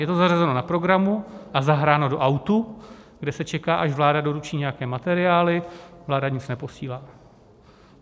Je to zařazeno na programu a zahráno do autu, kde se čeká, až vláda doručí nějaké materiály; vláda nic neposílá.